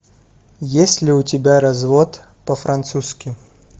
есть ли у тебя развод по французски